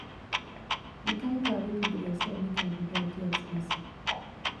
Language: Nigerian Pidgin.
di kain car wey pipo dey expect make i dey drive dey expensive o